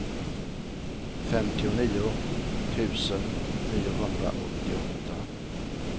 femtionio tusen niohundraåttioåtta